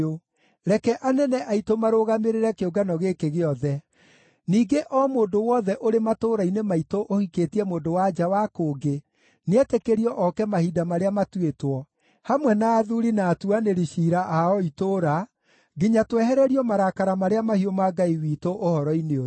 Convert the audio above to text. Reke anene aitũ marũgamĩrĩre kĩũngano gĩkĩ gĩothe. Ningĩ o mũndũ wothe ũrĩ matũũra-inĩ maitũ ũhikĩtie mũndũ-wa-nja wa kũngĩ nĩetĩkĩrio oke mahinda marĩa matuĩtwo, hamwe na athuuri na atuanĩri ciira a o itũũra, nginya twehererio marakara marĩa mahiũ ma Ngai witũ ũhoro-inĩ ũyũ.”